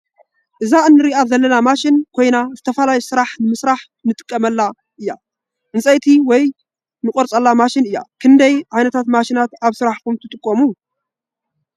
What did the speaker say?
እዛ እንረኣ ዘለና ማሽን ኮይና ዝተፈላለዩ ንምስራሕ እንቆርፀላ ውይ ዕንፀይቲ እንቆርፀላ ማሽን እያ። ክንዳይ ዓይነታት ማሽናት ኣብ ስራሕትኩም ትጠቀሙ ?